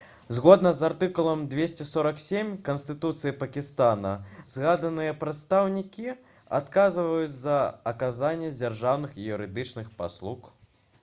згодна з артыкулам 247 канстытуцыі пакістана згаданыя прадстаўнікі адказваюць за аказанне дзяржаўных і юрыдычных паслуг